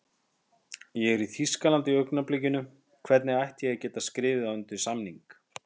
Ég er í Þýskalandi í augnablikinu, hvernig ætti ég að geta skrifað undir samning?